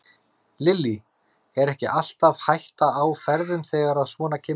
Lillý: Er ekki alltaf hætta á ferðum þegar að svona kemur upp?